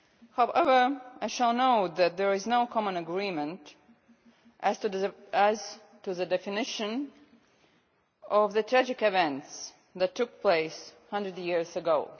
However, I shall note that there is no common agreement as to the definition of the tragic events that took place 100 years ago.